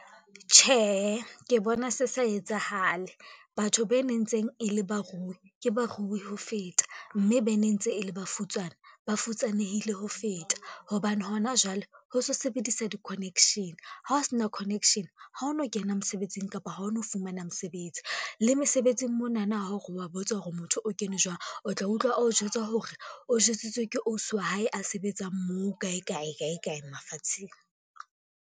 Tjhehe, ke bona se sa etsahale. Batho be ne ntseng e le barui ke barui ho feta, mme be ne ntse e le bafutsana, ba futsanehile ho feta hobane hona jwale ho se sebedisa di-connection, ha o sena connection ha o no kena mosebetsing kapa ha o no fumana mosebetsi. Le mesebetsing monana ha o re wa botsa hore motho o kene jwang, o tla utlwa o jwetsa hore o jwetsitswe ke ausi wa hae a sebetsang moo kae kae, kae, kae mafatsheng.